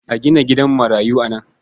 A gina gidan marayu a nan.